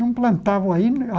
Não plantavam aí.